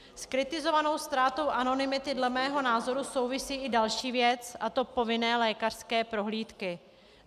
S kritizovanou ztrátou anonymity dle mého názoru souvisí i další věc, a to povinné lékařské prohlídky.